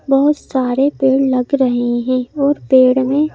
बहुत सारे पेड़ लग रहे हैं और पेड़ में--